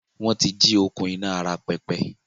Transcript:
Wọ́n ti jí òkun iná ara pẹpẹ